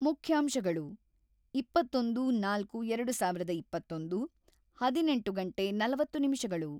ಮುಖ್ಯಾಂಶಗಳು: ಇಪ್ಪತ್ತೊಂದು. ನಾಲ್ಕು. ಎರಡು ಸಾವಿರದ ಇಪ್ಪತ್ತೊಂದು ಹದಿನೆಂಟು ಗಂಟೆ ನಲವತ್ತು ನಿಮಿಷಗಳು